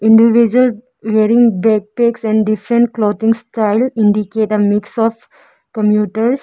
individual wearing backpacks and different clothing style indicate a mix of commuters